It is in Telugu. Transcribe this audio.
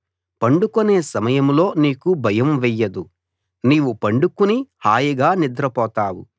పండుకొనే సమయంలో నీకు భయం వెయ్యదు నీవు పండుకుని హాయిగా నిద్రపోతావు